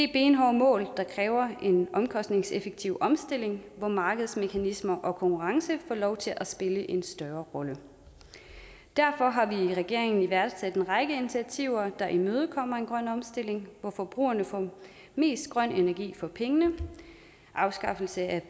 benhårde mål der kræver en omkostningseffektiv omstilling hvor markedsmekanismer og konkurrence får lov til at spille en større rolle derfor har vi i regeringen iværksat en række initiativer der imødekommer en grøn omstilling hvor forbrugerne får mest grøn energi for pengene afskaffelse af